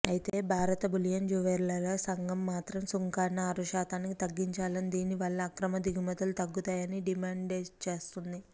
అయితే భారత బులియన్ జ్యుయెలర్ల సంఘం మాత్రం సుంకాన్ని ఆరుశాతానికి తగ్గించాలని దీనివల్ల అక్రమ దిగుమతులు తగ్గుతాయని డిమాండ్చేస్తోంది